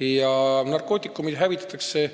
ja narkootikumid hävitatakse.